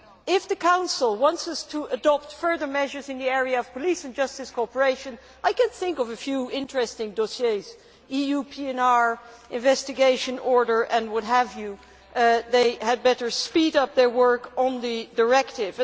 If the Council wants us to adopt further measures in the area of police and justice cooperation, I can think of a few interesting dossiers EU PNR, investigation order and what have you. They had better speed up their work on the directive.